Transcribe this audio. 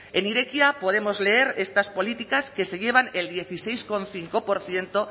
en irekia podemos leer estas políticas que se llevan el dieciséis coma cinco por ciento